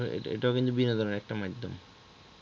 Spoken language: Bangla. এইটাও কিন্তু বিনোদনের আর একটা মাধ্যম